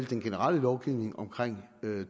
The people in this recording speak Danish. den generelle lovgivning omkring